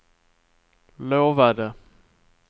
lovade